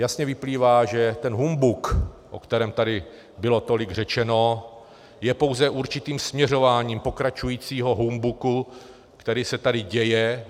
Jasně vyplývá, že ten humbuk, o kterém tady bylo tolik řečeno, je pouze určitým směřováním pokračujícího humbuku, který se tady děje.